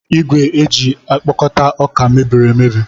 Igwe eji ekpokọta ọka mebiri emebi.